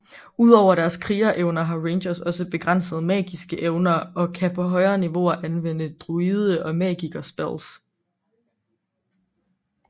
Udover deres kriger evner har rangers også begrænsede magiske evner og kan på højere niveauer anvende druide og magiker spells